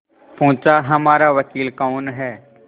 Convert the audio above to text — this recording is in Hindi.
पूछाहमारा वकील कौन है